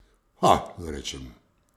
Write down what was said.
Pha, rečem.